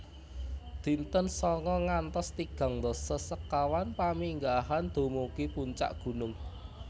Dinten sanga ngantos tigang dasa sekawan Paminggahan dumugi puncak gunung